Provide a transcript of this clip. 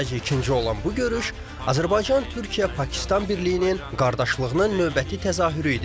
Sayca ikinci olan bu görüş Azərbaycan Türkiyə Pakistan birliyinin qardaşlığının növbəti təzahürü idi.